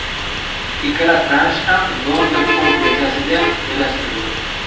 Ikkala transh ham London fond birjasiga joylashtirildi.